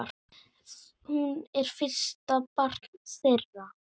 Hún er fyrsta barn þeirra.